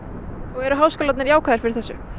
eru háskólarnir jákvæðir fyrir þessu